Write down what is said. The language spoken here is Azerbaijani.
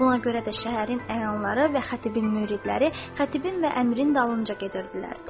Buna görə də şəhərin əyanları və xətibin müridləri xətibin və əmirin dalınca gedirdilər.